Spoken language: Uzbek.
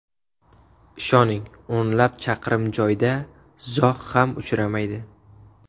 Ishoning, o‘nlab chaqirim joyda zog‘ ham uchramaydi.